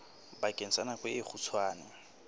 bakeng sa nako e kgutshwane